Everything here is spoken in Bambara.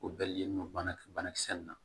O bɛɛ len don banakisɛ nunnu na